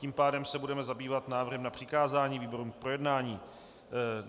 Tím pádem se budeme zabývat návrhem na přikázání výborům k projednání.